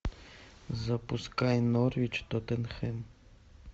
запускай норвич тоттенхэм